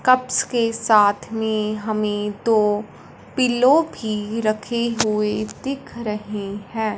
Cups के साथ में हमें दो पिलो भी रखे हुए दिख रहे है।